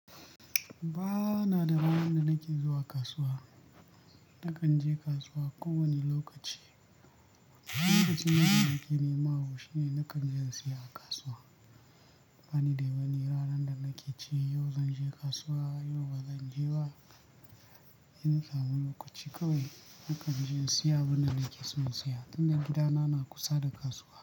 Ba na da ranar da nake zuwa kasuwa. Nakan je kasuwa kowane lokaci. Lokacin da nake nema abu shine nakan je in siya a kasuwa. Bani da wani ranar da nake ce yau zan je kasuwa, yau ba zan je ba. Ina samun lokaci kawai, nakan je in siya abin da nake son siya, tunda gidana na kusa da kasuwa.